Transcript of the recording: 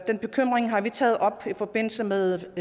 den bekymring har vi taget op i forbindelse med